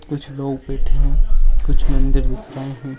कुछ लोग बैठे हैं कुछ मंदिर दिख रहे है।